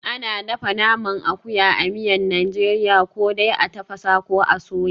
Ana dafa naman akuya a miyan Najeriya ko dai a tafasa, ko a soya.